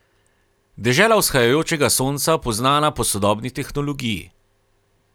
Dežela vzhajajočega sonca poznana po sodobni tehnologiji.